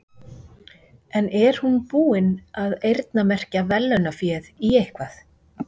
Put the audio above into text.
En er hún búin að eyrnamerkja verðlaunaféð í eitthvað?